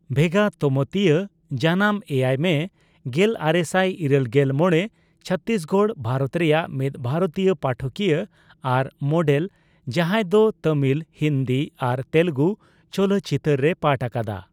ᱵᱷᱮᱜᱟ ᱛᱚᱢᱳᱛᱤᱭᱟ (ᱡᱟᱱᱟᱢ ᱮᱭᱟᱭ ᱢᱮ ᱜᱮᱞᱟᱨᱮᱥᱟᱭ ᱤᱨᱟᱹᱞ ᱜᱮᱞ ᱢᱚᱲᱮ ᱪᱷᱚᱛᱛᱤᱥᱜᱚᱲ, ᱵᱷᱟᱨᱚᱛ ᱨᱮᱭᱟᱜ) ᱢᱤᱫ ᱵᱷᱟᱨᱚᱛᱤᱭᱚ ᱯᱟᱴᱷᱚᱠᱤᱭᱟᱹ ᱟᱨ ᱢᱚᱰᱮᱞ, ᱡᱟᱸᱦᱟᱭ ᱫᱚ ᱛᱟᱢᱤᱞ, ᱦᱤᱱᱫᱤ ᱟᱨ ᱛᱮᱞᱜᱩ ᱪᱚᱞᱚᱛᱪᱤᱛᱟᱹᱨ ᱨᱮᱭ ᱯᱟᱴ ᱟᱠᱟᱫᱟ ᱾